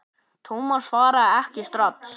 Thomas svaraði ekki strax.